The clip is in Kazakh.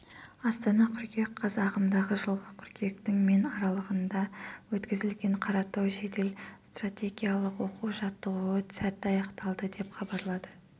астана қыркүйек қаз ағымдағы жылғы қыркүйектің мен аралығында өткізілген қаратау жедел-стратегиялық оқу-жаттығуы сәтті аяқталды деп хабарлады